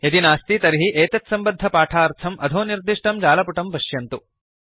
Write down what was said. यदि नास्ति तर्हि एतत्सम्बद्धपाठार्थं अधो निर्दिष्टं जालपुटं पश्यन्तु